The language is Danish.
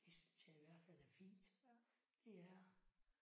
Det synes jeg i hvert fald er fint. Det er det